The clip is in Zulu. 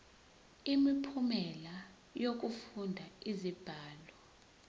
imiphumela yokufunda izibalo